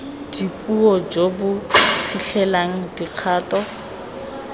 dipuo jo bo fitlhelelang dikgato